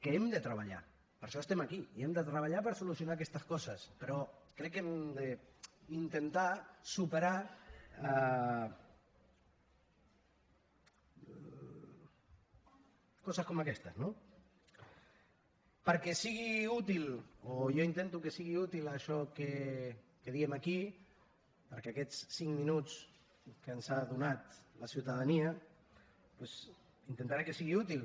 que hem de treballar per això estem aquí i hem de treballar per solucionar aquestes coses però crec que hem d’intentar superar coses com aquestes no perquè sigui útil o jo intento que sigui útil això que diem aquí perquè aquests cinc minuts que ens ha donat la ciutadania doncs intentaré que siguin útils